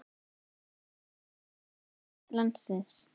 Hann varð seinna forseti landsins.